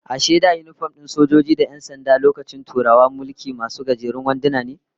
Ashe wai da yinifom din sojoji da 'yan sanda lokacin Turawan mulki, masu gajerun wanduna ne?